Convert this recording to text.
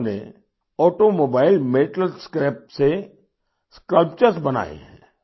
उन्होंने automobile metal scrap से sculptures sculptures बनाएहैं